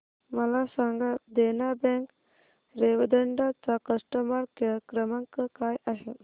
मला सांगा देना बँक रेवदंडा चा कस्टमर केअर क्रमांक काय आहे